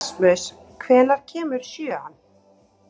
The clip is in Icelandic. Erasmus, hvenær kemur sjöan?